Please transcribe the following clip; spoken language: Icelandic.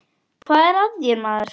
Hvað er að þér, maður?